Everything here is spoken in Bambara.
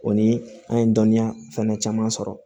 O ni an ye dɔnniya fana caman sɔrɔ